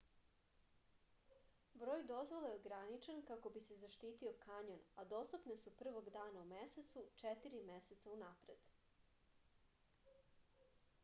broj dozvola je ograničen kako bi se zaštitio kanjon a dostupne su prvog dana u mesecu četiri meseca unapred